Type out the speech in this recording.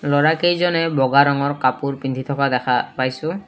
ল'ৰাকেইজনে বগা ৰঙৰ কাপোৰ পিন্ধি থকা দেখা পাইছোঁ।